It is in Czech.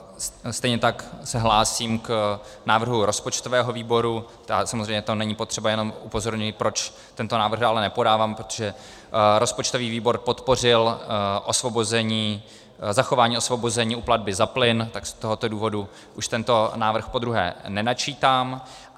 Stejně tak se hlásím k návrhu rozpočtového výboru, samozřejmě to není potřeba, jenom upozorňuji, proč tento návrh dále nepodávám, protože rozpočtový výbor podpořil zachování osvobození u platby za plyn, tak z tohoto důvodu už tento návrh podruhé nenačítám.